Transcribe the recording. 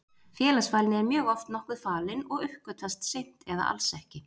Félagsfælni er mjög oft nokkuð falin og uppgötvast seint eða alls ekki.